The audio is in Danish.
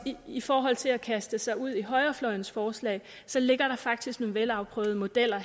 i forhold til at kaste sig ud i højrefløjens forslag ligger der faktisk nogle velafprøvede modeller